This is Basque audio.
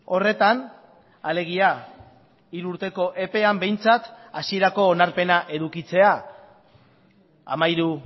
horretan alegia hiru urteko epean behintzat hasierako onarpena edukitzea hamairu